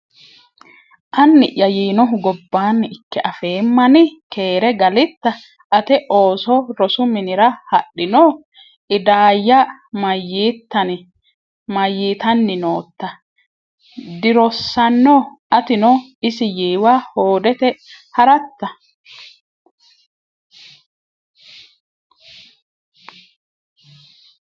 Anni’ya yiinohu gobbanni ikke afeemmani? Keere galitta? Ate ooso rosu minira dihadhino? Idaayya: Mayyitanni nootta? Dirossanno? Atino isi yiiwa hoodete ha’ratta?